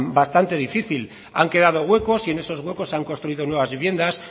bastante difícil han quedado huecos y en esos huecos se han construidos nuevas viviendas